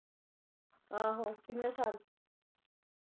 ਆਹੋ ਕਿੰਨੇ ਸਾਲ?